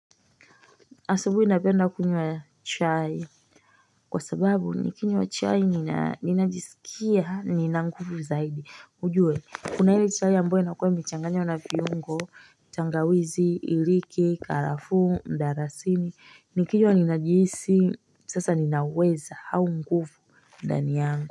Asabuhi napenda kunywa chai Kwa sababu nikinywa chai, ninajisikia nina nguvu zaidi. Ujue, kuna hili chai ambayo inakuwa imechanganywa na viungo. Tangawizi, iliki, karafuu, mdarasini. Nikinywa ninajisi sasa ninaweza au nguvu ndani yangu.